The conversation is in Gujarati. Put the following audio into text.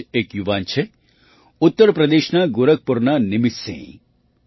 આવા જ એક યુવાન છે ઉત્તર પ્રદેશના ગોરખપુરના નિમિતસિંહ